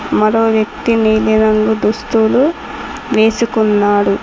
మరో వ్యక్తి నీలి రంగు దుస్తులు వేసుకున్నాడు.